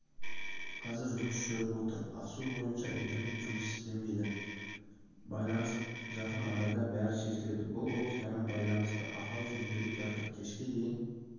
қазір жұмыс жүріп жатыр ақсу бойынша интернет жұмыс істемейді жақын арада бәрі шешіледі бұл оптикамен байланысты ақау жөнделіп жатыр кешке дейін